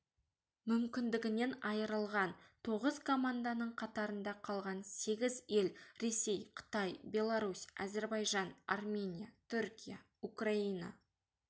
мүмкіндігінен айырылған тоғыз команданың қатарында қалған сегіз ел ресей қытай беларусь әзербайжан армения түркия украина